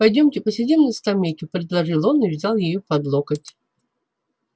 пойдёмте посидим на скамейке предложил он и взял её под локоть